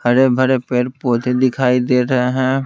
हरे भरे पेड़ पोधे दिखाई दे रहे हैं।